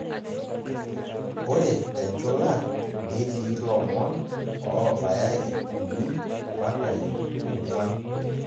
Ore tenchula netii lomon oobaya iip uni mpaka iip ong'uan.